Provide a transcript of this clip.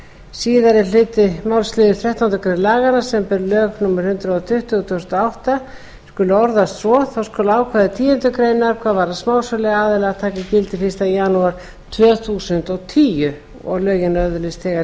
síðari hluti málsliðar þrettándu greinar laganna samanber lög númer hundrað tuttugu tvö þúsund og átta skulu orðast svo þá skulu ákvæði tíundu greinar hvað varðar smásöluaðila taka gildi fyrsta janúar tvö þúsund og tíu og lögin öðlist þegar